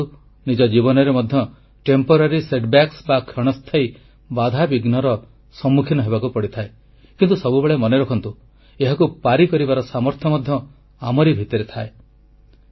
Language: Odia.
ଆମମାନଙ୍କୁ ନିଜ ଜୀବନରେ ମଧ୍ୟ କ୍ଷଣସ୍ଥାୟୀ ବାଧାବିଘ୍ନର ସମ୍ମୁଖୀନ ହେବାକୁ ପଡ଼ିଥାଏ କିନ୍ତୁ ସବୁବେଳେ ମନେରଖନ୍ତୁ ଏହାକୁ ପାରି କରିବାର ସାମର୍ଥ୍ୟ ମଧ୍ୟ ଆମରି ଭିତରେ ଥାଏ